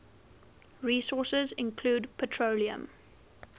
resources include petroleum